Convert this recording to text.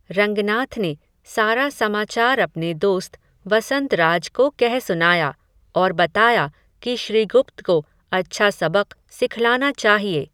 रंगनाथ ने, सारा समाचार अपने दोस्त, वसंतराज को कह सुनाया, और बताया, कि श्रीगुप्त को अच्छा सबक़ सिखलाना चाहिए